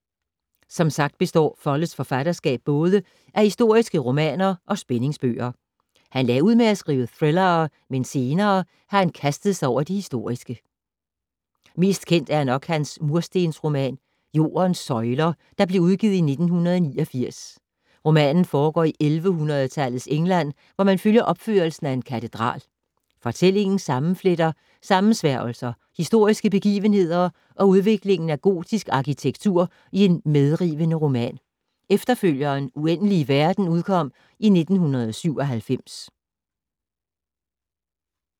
Som sagt består Folletts forfatterskab både af historiske romaner og spændingsbøger. Han lagde ud med at skrive thrillere, men senere har han kastet sig over det historiske. Mest kendt er nok hans murstensroman Jordens søjler, der blev udgivet i 1989. Romanen foregår i 1100-tallets England, hvor man følger opførelsen af en katedral. Fortællingen sammenfletter sammensværgelser, historiske begivenheder og udviklingen af gotisk arkitektur i en medrivende roman. Efterfølgeren Uendelige verden udkom i 1997.